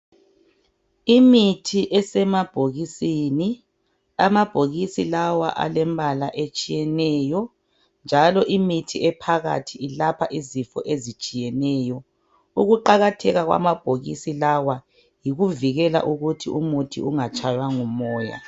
Imithi esemabhokisini, amabhokisi lawa alembala etshiyeneyo njalo imithi ephakathi ilapha izifo ezitshiyeneyo. Ukuqakatheka kwamabhokisi lawa yikuvikela ukuthi umuthi ungatshaywa ngumoya.